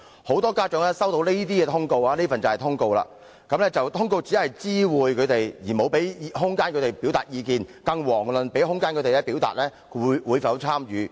我手上有一份學校通告，很多家長所接獲的通告，只是作出知會，根本沒有提供空間讓他們表達意見，更遑論給予他們空間表達會否參與。